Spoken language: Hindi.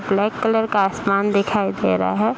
ब्लैक कलर का आसमान दिखाई दे रहा है।